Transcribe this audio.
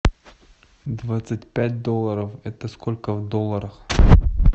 двадцать пять долларов это сколько в долларах